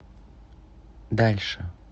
дальше